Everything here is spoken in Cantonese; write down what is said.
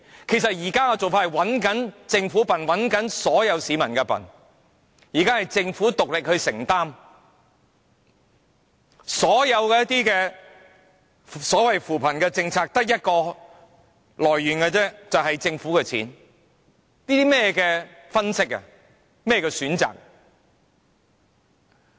其實現時的做法是佔政府和所有市民便宜，現時是政府獨力承擔，所有扶貧政策的錢只得一個來源，便是政府的錢，這是甚麼分析和選擇？